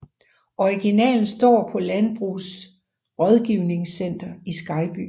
Originalen står på Landbrugets Rådgivningscenter i Skejby